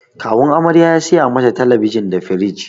Kawun amarya ya saya mata talabijin di firij.